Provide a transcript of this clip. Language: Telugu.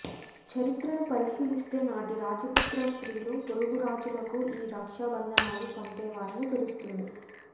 చరిత్రను పరిశీలిస్తే నాటి రాజపుత్ర స్ర్తిలు పొరుగు రాజులకు ఈ రక్షా బంధనాలు పంపేవారని తెలుస్తుంది